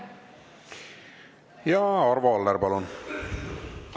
Ja Arvo Aller, palun!